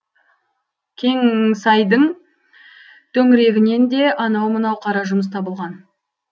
кеңңсайдың төңірегінен де анау мынау қара жұмыс табылған